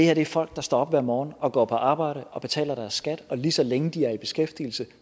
er folk der står op hver morgen og går på arbejde og betaler deres skat og lige så længe de er i beskæftigelse